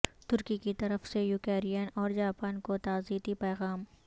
ترکی کی طرف سے یوکرائن اور جاپان کو تعزیتی پیغام